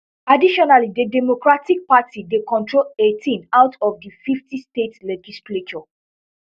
additionally di democratic party dey control eighteen out of di fifty state legislatures